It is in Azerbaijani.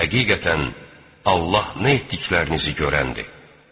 Həqiqətən, Allah nə etdiklərinizi görəndir.